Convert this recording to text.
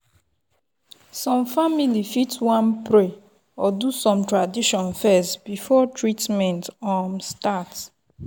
some family fit wan pray or do some tradition first before treatment um start.